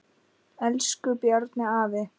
Elsku Bjarni afi.